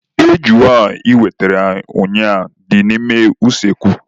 Ejuna anyị wetere ụnyaahụ dị n'ime usekwu.